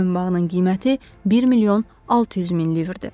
Boyunbağının qiyməti 1 milyon 600 min livrdir.